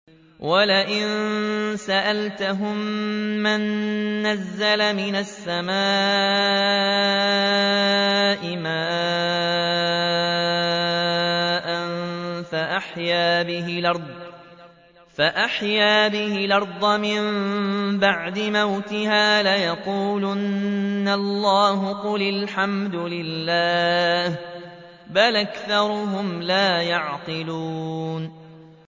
وَلَئِن سَأَلْتَهُم مَّن نَّزَّلَ مِنَ السَّمَاءِ مَاءً فَأَحْيَا بِهِ الْأَرْضَ مِن بَعْدِ مَوْتِهَا لَيَقُولُنَّ اللَّهُ ۚ قُلِ الْحَمْدُ لِلَّهِ ۚ بَلْ أَكْثَرُهُمْ لَا يَعْقِلُونَ